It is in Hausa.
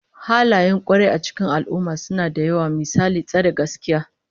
Halayen kwarai a cikin al'ummah suna da yawa, misali tsare gaskiya